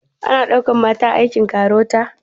Ana ɗaukan mata a aikin KAROTA?